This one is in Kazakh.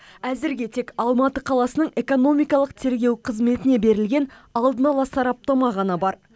әзірге тек алматы қаласының экономикалық тергеу қызметіне берілген алдын ала сараптама ғана бар